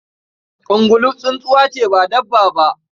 Ungulu tsuntsuwa ce ba dabba ba.